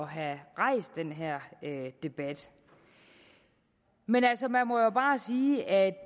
have rejst den her debat man altså man må jo bare sige at